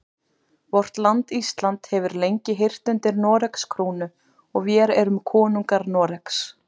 Vort land Ísland hefur lengi heyrt undir Noregs krúnu og vér erum konungur Noregs.